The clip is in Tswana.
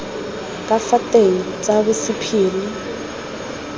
ka fa teng tsa bosephiri